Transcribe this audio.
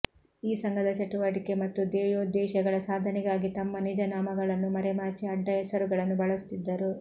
ಈ ಸಂಘದ ಚಟುವಟಿಕೆ ಮತ್ತು ಧ್ಯೇಯೋದ್ದೇಶಗಳ ಸಾಧನೆಗಾಗಿ ತಮ್ಮ ನಿಜ ನಾಮಗಳನ್ನು ಮರೆಮಾಚಿ ಅಡ್ಡ ಹೆಸರುಗಳನ್ನು ಬಳಸುತ್ತಿದ್ದರು